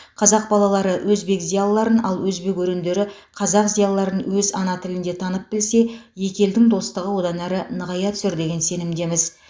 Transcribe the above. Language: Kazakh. қазақ балалары өзбек зиялыларын ал өзбек өрендері қазақ зиялыларын өз ана тілінде танып білсе екі елдің достығы одан әрі нығая түсер деген сенімдеміз